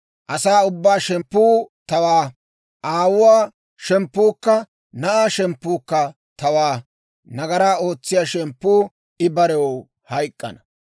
Asaa ubbaa shemppuu tawaa; aawuwaa shemppuukka na'aa shemppuukka tawaa. Nagaraa ootsiyaa shemppuu I barew hayk'k'ana.